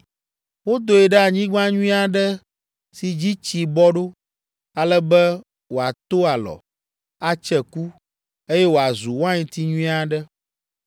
Wodoe ɖe anyigba nyui aɖe si dzi tsi bɔ ɖo, ale be wòato alɔ, atse ku, eye wòazu wainti nyui aɖe.’